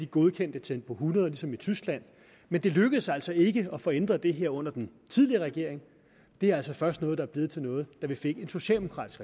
godkendte tempo hundrede busser ligesom i tyskland men det lykkedes altså ikke at få ændret det her under den tidligere regering det er først noget der er blevet til noget da vi fik en socialdemokratisk